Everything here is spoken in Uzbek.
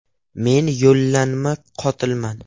Men yollanma qotilman.